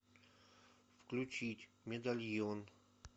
включить медальон